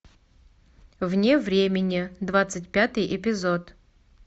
вне времени двадцать пятый эпизод